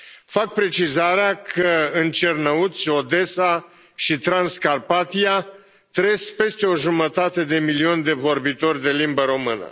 Fac precizarea că în Cernăuți, Odessa și Transcarpatia trăiesc peste o jumătate de milion de vorbitori de limbă română.